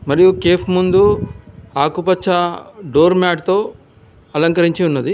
మరియు కేఫ్ ముందు ఆకుపచ్చ డోర్ మ్యాట్తో అలంకరించి ఉన్నది.